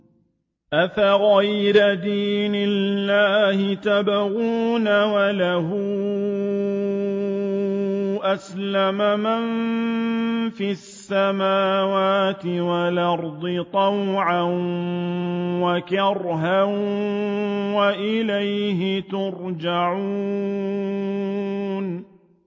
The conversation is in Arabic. أَفَغَيْرَ دِينِ اللَّهِ يَبْغُونَ وَلَهُ أَسْلَمَ مَن فِي السَّمَاوَاتِ وَالْأَرْضِ طَوْعًا وَكَرْهًا وَإِلَيْهِ يُرْجَعُونَ